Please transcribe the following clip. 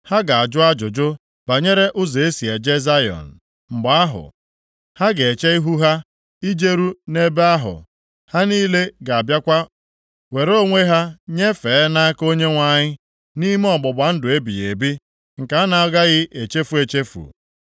Ha ga-ajụ ajụjụ, banyere ụzọ e si eje Zayọn. Mgbe ahụ, ha ga-eche ihu ha ijeru nʼebe ahụ. Ha niile ga-abịakwa were onwe ha nyefee + 50:5 Rapara nʼahụ Onyenwe anyị nʼaka Onyenwe anyị, nʼime ọgbụgba ndụ ebighị ebi, nke a na-agaghị echefu echefu.